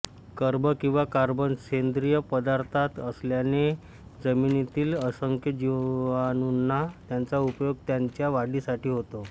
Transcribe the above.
कर्ब किवा कार्बन सेंद्रिय पदार्थात असल्याने जमिनीतील असंख्य जिवाणूंना त्याचा उपयोग त्यांच्या वाढीसाठी होतो